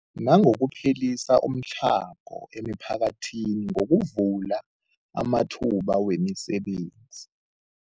Nangokuphelisa umtlhago emiphakathini ngokuvula amathuba wemisebenzi.